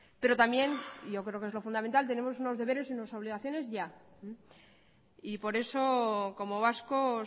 pero también yo creo que es lo fundamental tenemos unos deberes y unas obligaciones ya y por eso como vascos